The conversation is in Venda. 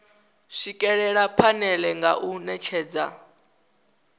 swikelela phanele nga u netshedza